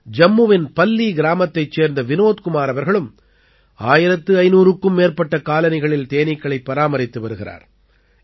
ஜம்முவின் பல்லீ கிராமத்தைச் சேர்ந்த விநோத் குமார் அவர்களும் 1500க்கும் மேற்பட்ட காலனிகளில் தேனீக்களைப் பராமரித்து வருகிறார்